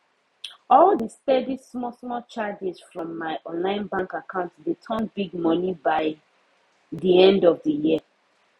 all the steady small small charges from my online bank account dey turn big money by the end of the year